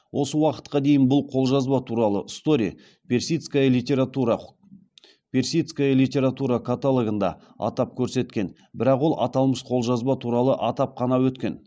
осы уақытқа дейін бұл қолжазба туралы стори персидская литература персидская литература каталогында атап көрсеткен бірақ ол аталмыш қолжазба туралы атап қана өткен